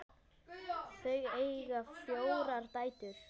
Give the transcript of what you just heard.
Þau eiga fjórar dætur.